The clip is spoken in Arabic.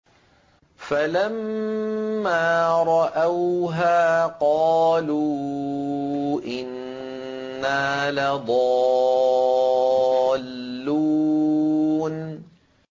فَلَمَّا رَأَوْهَا قَالُوا إِنَّا لَضَالُّونَ